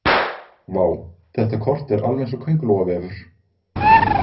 Vá, þetta kort er alveg eins og kóngulóarvefur